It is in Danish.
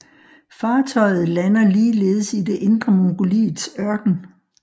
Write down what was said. Fartøjet lander ligeledes i det Indre Mongoliets ørken